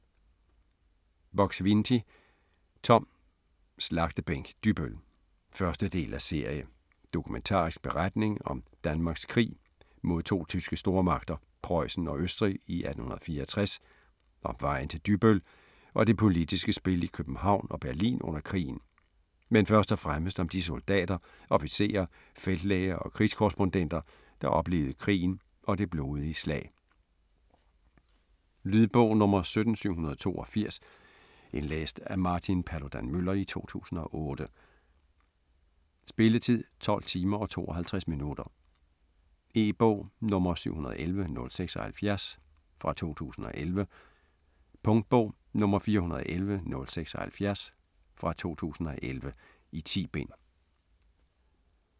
Buk-Swienty, Tom: Slagtebænk Dybbøl 1. del af serie. Dokumentarisk beretning om Danmarks krig mod to tyske stormagter, Prøjsen og Østrig i 1864 - om vejen til Dybbøl og det politiske spil i København og Berlin under krigen. Men først og fremmest om de soldater, officerer, feltlæger og krigskorrespondenter, der oplevede krigen og det blodige slag. Lydbog 17782 Indlæst af Martin Paludan-Müller, 2008. Spilletid: 12 timer, 52 minutter. E-bog 711076 2011. Punktbog 411076 2011. 10 bind.